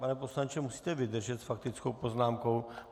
Pane poslanče, musíte vydržet s faktickou poznámkou.